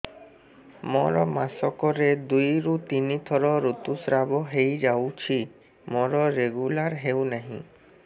ମୋର ମାସ କ ରେ ଦୁଇ ରୁ ତିନି ଥର ଋତୁଶ୍ରାବ ହେଇଯାଉଛି ମୋର ରେଗୁଲାର ହେଉନାହିଁ